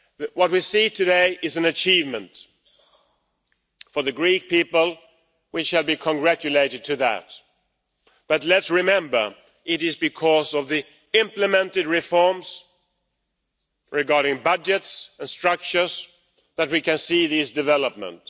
What we see today is an achievement for the Greek people, who should be congratulated on that, but let's remember that it is because of the implemented reforms regarding budgets and structures that we can see these developments.